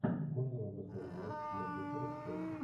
можно нам посмотреть матч манчестера с челси